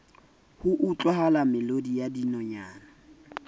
ho utlwahala melodi ya dinonyana